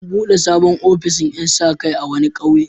An buɗe sabon ofishin ƴan sa-kai a wani ƙauye.